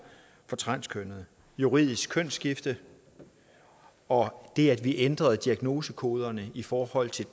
for transkønnede juridisk kønsskifte og det at vi ændrede diagnosekoderne i forhold til